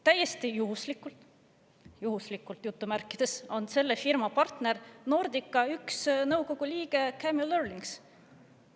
Täiesti juhuslikult – "juhuslikult" – on selle firma partner üks Nordica nõukogu liige Camiel Eurlings.